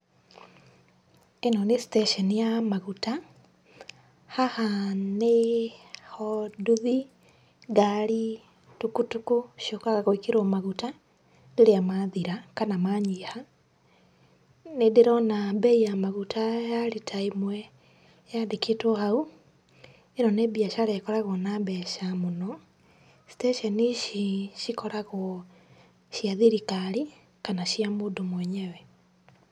ĩno nĩ station ya maguta , haha nĩho nduthi, ngari, tukutuku ciũkaga gwĩkĩrwo maguta rĩrĩa mathira kana manyiha. Nĩndĩrona mbei ya maguta ya rita ĩmwe yandĩkĩtwo hau. ĩno nĩ mbiacara ĩkoragwo na mbeca mũno. Station ici cikoragwo cia thirikari kana cia mũndũ mwenyewe.